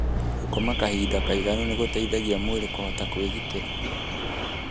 Gũkoma kahinda kaĩganu nĩ gũteithagia mwĩrĩ kũhota kwĩgitĩra.